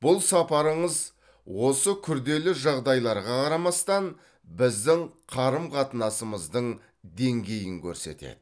бұл сапарыңыз осы күрделі жағдайларға қарамастан біздің қарым қатынасымыздың деңгейін көрсетеді